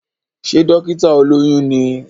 Sé dọ́kítà olóyún ní?